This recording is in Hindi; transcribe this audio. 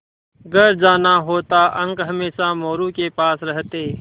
घर जाना होता अंक हमेशा मोरू के पास रहते